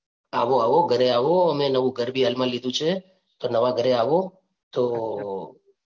આવો આવો ઘરે આવો અમે નવું ઘર બી હાલમાં લીધું છે તો નવા ઘરે આવો તો